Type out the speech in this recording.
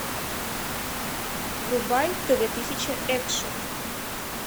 врубай тв тысяча экшн